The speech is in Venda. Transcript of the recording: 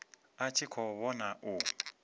a tshi khou vhona u